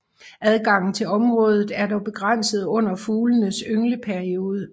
Adgangen til området er dog begrænset under fuglenes yngleperiode